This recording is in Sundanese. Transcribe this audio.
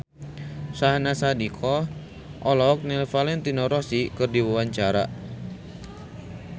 Syahnaz Sadiqah olohok ningali Valentino Rossi keur diwawancara